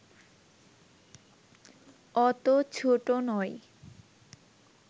অত ছোট নয়